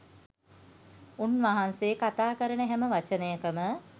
උන්වහන්සේ කතා කරන හැම වචනයකම